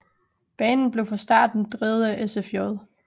Banen blev fra starten drevet af SFJ